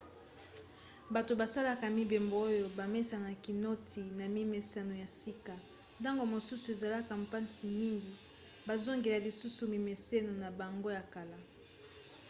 bato basalaka mibembo oyo bamesanaka noti na mimeseno ya sika ntango mosusu ezalaka mpasi mingi bazongela lisusu mimeseno na bango ya kala